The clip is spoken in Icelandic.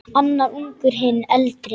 Annar ungur, hinn eldri.